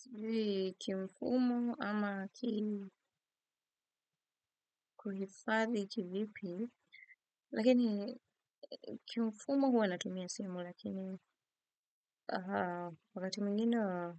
Sijui kimfumo ama kiini kuhifadhi kivipi, lakini kimfumo huwa natumia simu lakini wakati mwigine wa